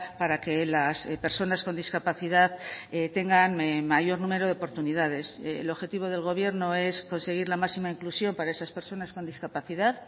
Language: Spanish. para que las personas con discapacidad tengan mayor número de oportunidades el objetivo del gobierno es conseguir la máxima inclusión para esas personas con discapacidad